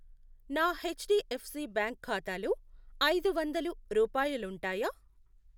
నా H D F C bank ఖాతాలో ఐదు వందలు రూపాయలుంటాయా?